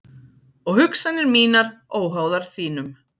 Og hugsanir mínar óháðar þínum.